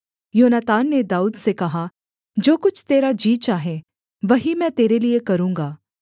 योनातान ने दाऊद से कहा जो कुछ तेरा जी चाहे वही मैं तेरे लिये करूँगा